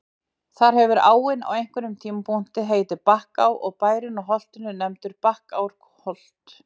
Þar hefur áin á einhverjum tímapunkti heitið Bakká og bærinn á holtinu nefndur Bakkárholt.